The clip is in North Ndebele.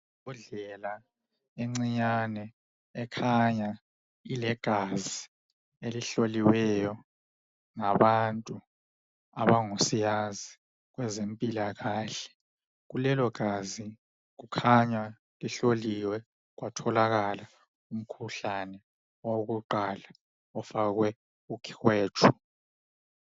Imbodlela encanyane ekhanya ilegazi elihloliweyo ngabantu abangosiyazi kwezempilakahle kulelo gazi kukhanya lihloliwe kwatholakala umkhuhlane elokuqala lifakwe ukhwetshu.